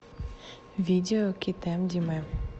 видео китэм димэ